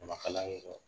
A ma kala ye dɛ